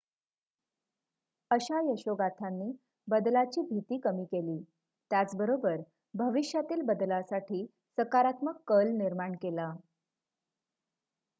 अशा यशोगाथांनी बदलाची भीती कमी केली त्याच बरोबर भविष्यातील बदलासाठी सकारात्मक कल निर्माण केला